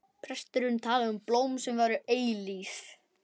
Presturinn talaði um blóm sem væru eilíf.